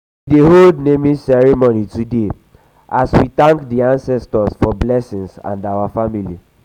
we dey hold naming ceremony today as we thank di ancestors for blessing for blessing our family.